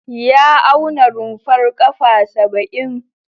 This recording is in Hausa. Ya auna rumfar ƙafa saba'in.